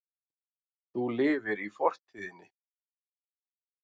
Þú lifir í fortíðinni.